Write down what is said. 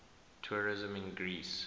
tourism in greece